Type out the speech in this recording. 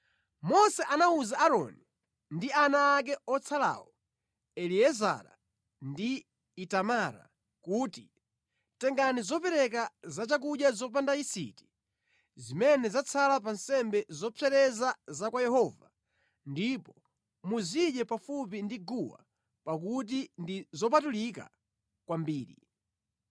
Mose anawuza Aaroni ndi ana ake otsalawo, Eliezara ndi Itamara kuti, “Tengani zopereka zachakudya zopanda yisiti zimene zatsala pa nsembe zopsereza za kwa Yehova ndipo muzidye pafupi ndi guwa pakuti ndi zopatulika kwambiri.